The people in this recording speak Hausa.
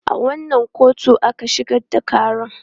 A wanne kotu aka shigar da ƙaran?